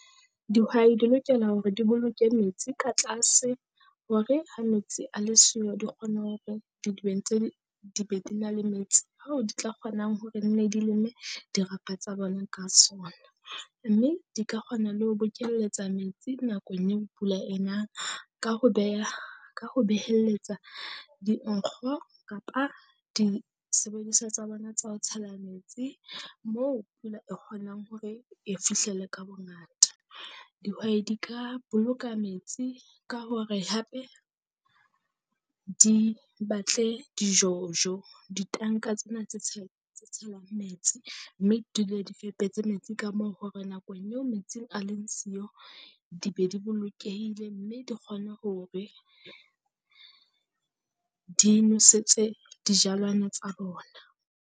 Dihwai di lokela hore di boloke metsi ka tlase hore ha metsi a le siyo, di kgona hore didibeng tse di be di na le metsi. Hoo di tla kgonang hore nne di leme, dirapa tsa bona ka sona, mme di ka kgona le ho bokelletsa metsi nakong eo pula e nang ka ho beha ka ho behelletsa dinkgo kapa disebediswa tsa bona tsa ho tshela metsi. Moo pula e kgonang hore e fihlele ka bongata, dihwai ka boloka metsi ka hore hape di batle di-jojo ditanka tsena tse tse tshelwang metsi, mme dule di fepetse metsi ka moo. Hore nakong eo metsi a leng siyo di be di bolokehile mme di kgona hore di nosetse dijalwana tsa bona.